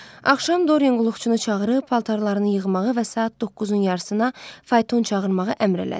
Axşam Doryan qulluqçunu çağırıb paltarlarını yığmağı və saat doqquzun yarısına fayton çağırmağı əmr elədi.